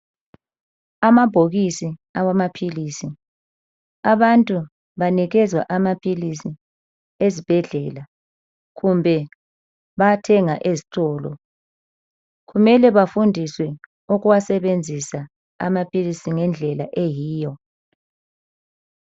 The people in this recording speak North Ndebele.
Amabhokisi awamaphilisi .Abantu banikezwa amaphilisi ezibhedlela kumbe bayathenga ezitolo. Kumele bafundiswe ukuwasebenzisa amaphilisi ngendlela eyiyo.